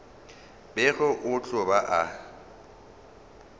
bego a tlo ba a